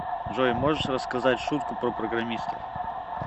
джой можешь рассказать шутку про программистов